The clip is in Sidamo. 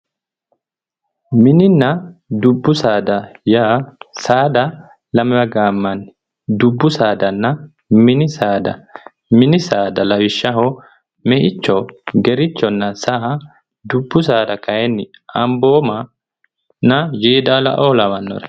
Mininna dubbi saada yaa saada lamewa gaamanni ,dubbu saadanna mini saada ,mini saada lawishshaho Meicho, Gerechonna saa . Dubbu saada kayinni Amboomanna Yeedalao lawanore